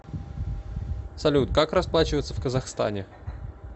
салют как расплачиваться в казахстане